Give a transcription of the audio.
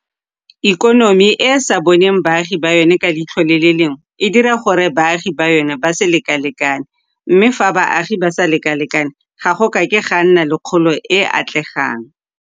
Ikonomi e e sa boneng baagi ba yona ka leitlho le le lengwe e dira gore baagi ba yona ba se lekalekane, mme fa baagi ba sa lekalekane ga go a ke ga nna le kgolo e e atlegang.